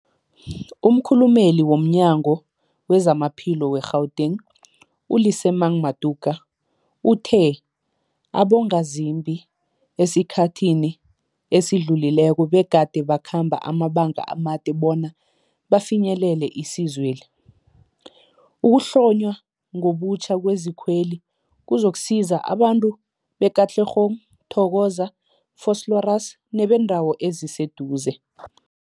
Umkhulumeli womNyango weZamaphilo we-Gauteng, u-Lesemang Matuka uthe abongazimbi esikhathini esidlulileko begade bakhamba amabanga amade bona bafinyelele isizweli. Ukuhlonywa ngobutjha kwezikweli kuzokusiza abantu be-Katlehong, Thokoza, Vosloorus nebeendawo eziseduze.